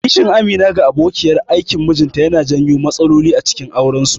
Kishin Amina ga abokiyar aikin mijinta yana janyo matsaloli acikin aurensu.